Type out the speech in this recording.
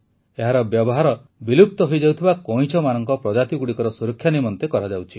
ଏହାର ବ୍ୟବହାର ବିଲୁପ୍ତ ହୋଇଯାଉଥିବା କଇଁଛମାନଙ୍କର ପ୍ରଜାତିଗୁଡ଼ିକର ସୁରକ୍ଷା ନିମନ୍ତେ କରାଯାଉଛି